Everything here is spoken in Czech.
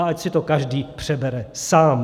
A ať si to každý přebere sám.